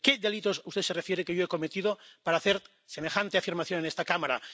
¿A qué delitos usted se refiere que yo he cometido para hacer semejante afirmación en esta Cámara?